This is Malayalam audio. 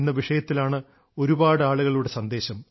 ഒരേ വിഷയത്തിലാണ് ഒരുപാടാളുകളുടെ സന്ദേശം